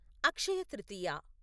Akshaya Tritiya